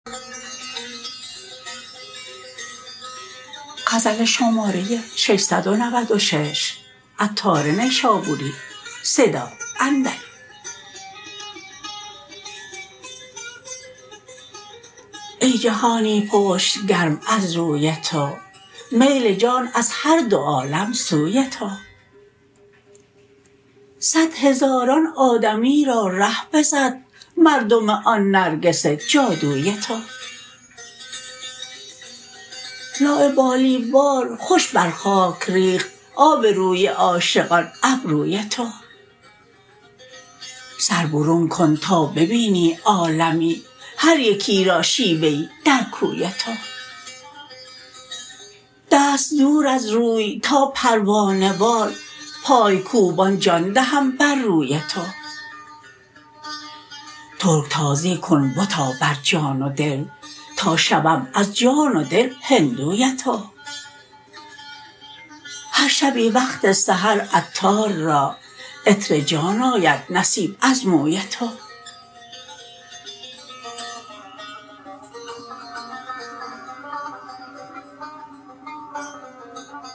ای جهانی پشت گرم از روی تو میل جان از هر دو عالم سوی تو صد هزاران آدمی را ره بزد مردم آن نرگس جادوی تو لاابالی وار خوش بر خاک ریخت آب روی عاشقان ابروی تو سر برون کن تا ببینی عالمی هر یکی را شیوه ای در کوی تو دست دور از روی تا پروانه وار پای کوبان جان دهم بر روی تو ترکتازی کن بتا بر جان و دل تا شوم از جان و دل هندوی تو هر شبی وقت سحر عطار را عطر جان آید نصیب از موی تو